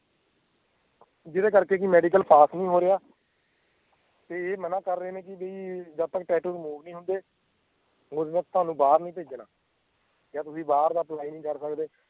ਜਿਹਦੇ ਕਰਕੇ ਵੀ medical pass ਨੀ ਹੋ ਰਿਹਾ ਤੇ ਇਹ ਮਨਾ ਕਰ ਰਹੇ ਨੇ ਕੀ ਬਈ ਜਦ ਤੱਕ tattoo remove ਨੀ ਹੁੰਦੇ ਬਈ ਤੁਹਾਨੂੰ ਬਾਹਰ ਨੀ ਭੇਜਣਾ ਜਾਂ ਤੁਸੀਂ ਬਾਹਰ ਦਾ apply ਨਹੀਂ ਕਰ ਸਕਦੇ